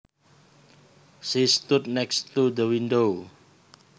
She stood next to the window